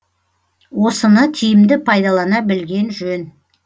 осыны тиімді пайдалана білген жөн